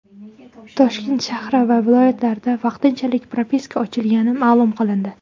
Toshkent shahri va viloyatida vaqtinchalik propiska ochilgani ma’lum qilindi.